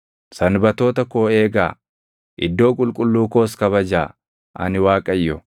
“ ‘Sanbatoota koo eegaa; iddoo qulqulluu koos kabajaa. Ani Waaqayyo.